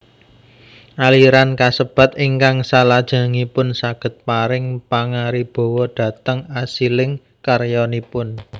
Aliran kasebat ingkang salajengipun saged paring pangaribawa dhateng asiling karyanipun